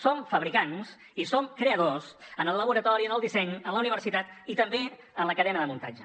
som fabricants i som creadors en el laboratori en el disseny a la universitat i també en la cadena de muntatge